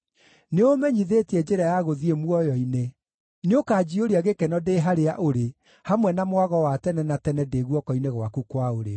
Nĩũũmenyithĩtie njĩra ya gũthiĩ muoyo-inĩ; nĩũkanjiyũria gĩkeno ndĩ harĩa ũrĩ, hamwe na mwago wa tene na tene ndĩ guoko-inĩ gwaku kwa ũrĩo.